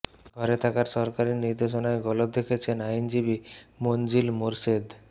ঘরে থাকার সরকারি নির্দেশনায় গলদ দেখছেন আইনজীবী মনজিল মোরশেদ